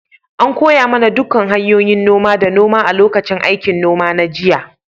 An koya mana dukkan hanyoyin noma da noma a lokacin aikin noma na jiya.